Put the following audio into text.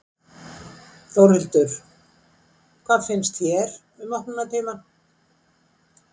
Þórhildur: Hvað finnst þér um opnunartímann?